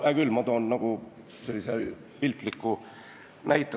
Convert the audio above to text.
Hea küll, ma toon piltliku näite.